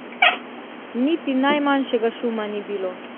Niti najmanjšega šuma ni bilo.